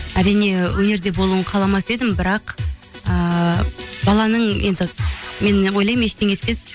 әрине өнерде болуын қаламас едім бірақ ыыы баланың енді мен ойлаймын ештеңе етпес